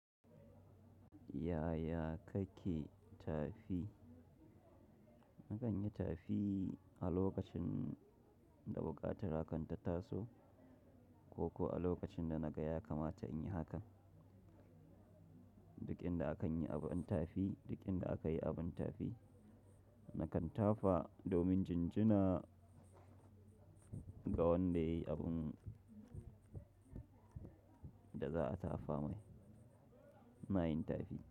Yaya kake tafi? Nakan yi tafi a lokacin da buƙatar hakan ta taso ko kuwa a lokacin da na ga ya kamata in yi haka. Duk inda akan yi abin tafi, duk inda aka yi abin tafi, nakan tafa domin jinjina ga wanda yayi abun da za a tafa mai. Ina yin tafi.